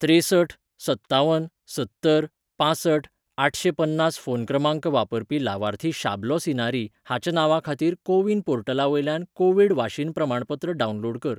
त्रेसठ सत्तावन सत्तर पांसठ आठशें पन्नास फोन क्रमांक वापरपी लावार्थी शाबलो सिनारी हाच्या नांवा खातीर कोविन पोर्टला वयल्यान को वीड वाशीनप्रमाणपत्र डावनलोड कर.